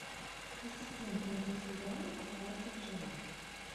ассистент найди сериал остаться в живых